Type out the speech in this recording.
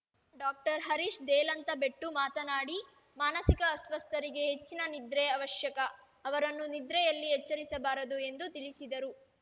ಡಾಕ್ಟ್ ರ್ ಹರೀಶ್ ದೇಲಂತಬೆಟ್ಟು ಮಾತನಾಡಿ ಮಾನಸಿಕ ಅಸ್ವಸ್ಥರಿಗೆ ಹೆಚ್ಚಿನ ನಿದ್ರೆ ಅವಶ್ಯಕ ಅವರನ್ನು ನಿದ್ರೆಯಲ್ಲಿ ಎಚ್ಚರಿಸಬಾರದು ಎಂದು ತಿಳಿಸಿದರು